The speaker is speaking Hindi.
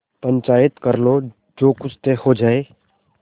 पंचायत कर लो जो कुछ तय हो जाय